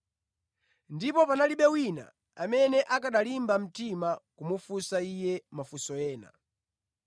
Ndipo panalibe wina amene akanalimba mtima kumufunsa Iye mafunso ena.